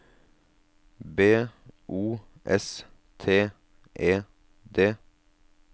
B O S T E D